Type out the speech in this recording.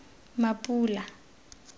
mapula